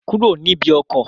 Kúrò níbi ọkọ̀!